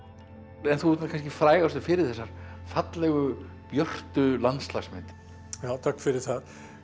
en þú ert nú kannski frægastur fyrir þessar fallegu björtu landslagsmyndir já takk fyrir það